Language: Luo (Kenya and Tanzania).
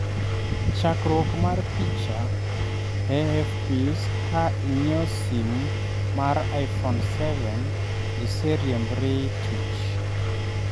Chakruok mar picha, AFP'ka inyiewo sim mar iphone 7 iseriembri tch'